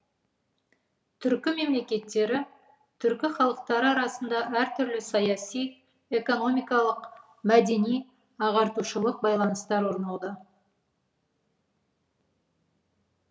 түркі мемлекеттері түркі халықтары арасында әртүрлі саяси экономикалық мәдени ағартушылық байланыстар орнауда